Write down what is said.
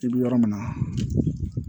I bɛ yɔrɔ min na